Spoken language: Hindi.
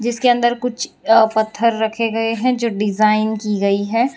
इसके अंदर कुछ अ पत्थर रखे गए हैं जो डिजाइन की गई है।